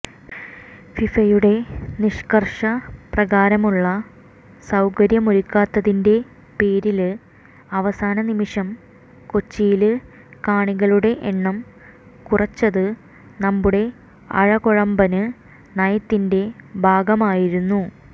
ഫിഫയുടെ നിഷ്കര്ഷ പ്രകാരമുള്ള സൌകര്യമൊരുക്കാത്തതിന്റെ പേരില് അവസാന നിമിഷം കൊച്ചിയില് കാണികളുടെ എണ്ണം കുറച്ചത് നമ്മുടെ അഴകൊഴമ്പന് നയത്തിന്റെ ഭാഗമായിരുന്നു